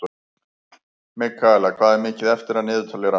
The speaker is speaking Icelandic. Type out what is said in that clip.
Mikaela, hvað er mikið eftir af niðurteljaranum?